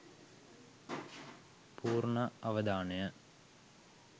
පූර්ණ අවධානය